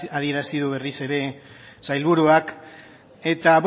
adierazi du berriz ere sailburuak eta